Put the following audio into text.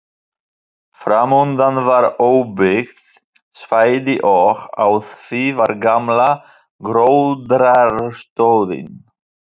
Framundan var óbyggt svæði og á því var gamla gróðrarstöðin.